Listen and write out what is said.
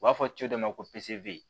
U b'a fɔ cɛ dɔ ma ko pise